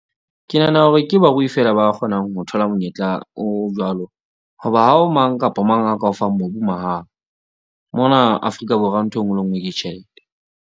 Ke nahana hore ke barui feela ba kgonang ho thola monyetla o jwalo. Hoba ha ho mang kapa mang a ka o fang mobu mahala. Mona Afrika Borwa nthwe nngwe le e nngwe ke tjhelte.